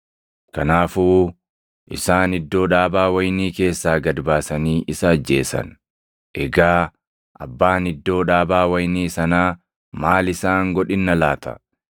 Kanaafuu isaan iddoo dhaabaa wayinii keessaa gad baasanii isa ajjeesan. “Egaa abbaan iddoo dhaabaa wayinii sanaa maal isaan godhinna laata?